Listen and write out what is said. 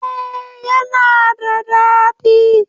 Eh yana da dadi.